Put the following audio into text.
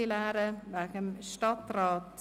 Also bitte die Pulte leeren wegen dem Stadtrat!